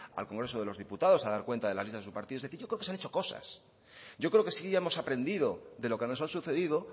al congreso de los diputados a dar cuenta de las listas de su partido es decir yo creo que se han hecho cosas yo creo que sí hemos aprendido de lo que nos ha sucedido